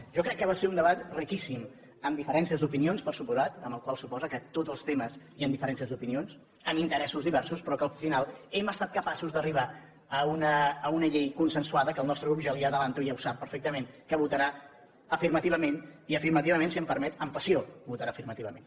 jo crec que va ser un debat riquíssim amb diferències d’opinions per descomptat la qual cosa suposa que en tots els temes hi ha diferències d’opinions amb interessos diversos però que al final hem estat capaços d’arribar a una llei consensuada que el nostre grup ja li ho avanço i ho sap perfectament votarà afirmativament i afirmativament si em permet amb passió votarà afirmativament